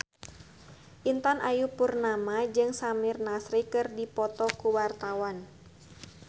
Intan Ayu Purnama jeung Samir Nasri keur dipoto ku wartawan